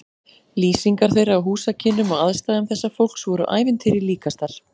Lýsingar þeirra á húsakynnum og aðstæðum þessa fólks voru ævintýri líkastar.